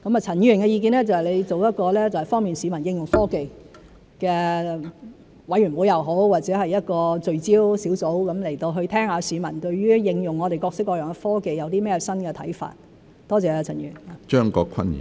陳議員的意見就是成立方便市民應用科技的委員會或聚焦小組，去聽取市民對於應用我們各式各樣的科技有甚麼新看法，多謝陳議員。